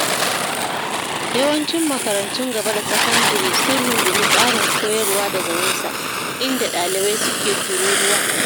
Yawancin makarantun gaba da sakandire sun rungumi tsarin koyarwa daga nesa, inda ɗalibai suke tururuwa.